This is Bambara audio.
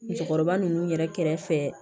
Musokɔrɔba ninnu yɛrɛ kɛrɛfɛ